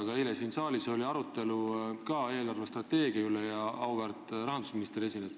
Aga ka eile oli siin saalis arutelu eelarvestrateegia üle ja meile esines auväärt rahandusminister.